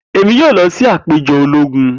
Emi yoo lọ si apejọ ologun.